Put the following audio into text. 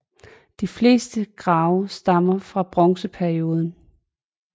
De fleste grave stammer fra bronzeperioden